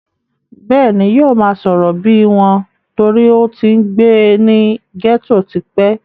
bẹ́ẹ̀ni, yóò máa sọ̀rọ̀ bíi wọn torí ó ń ti gbé ní gẹ́tò tipẹ́